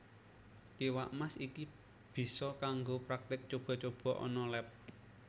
Iwak Mas iki bisa kanggo praktik cuba cuba ana leb